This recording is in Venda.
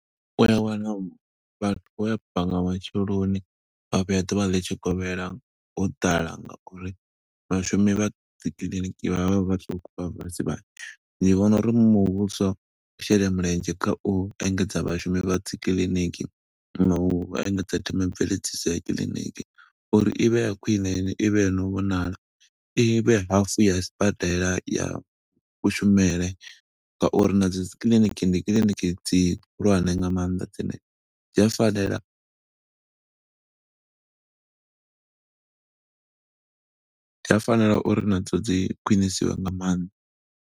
U ya wana vhathu vho bva nga matsheloni vha vhuya ḓuvha litshikovhela, ho ḓala nga uri vhashumi vha dzikiḽiniki vha vha vha vhaṱuku, vha vha vha si vhanzhi. Ndi vhona uri muvhuso u shela mulenzhe kha u engedza vhashumi vha dzikiḽiniki, nga u engedza themamveledziso ya kiḽiniki, uri i vhe ya khwine ende i vhe yo no vhonala. I vhe hafu ya sibadela ya kushumele nga uri na dzo dzikiḽiniki ndi kiḽiniki dzi hulwane nga maanḓa dzine dzi a fanela . Dzi a fanela uri na dzo dzi khwinisiwe nga maanḓa.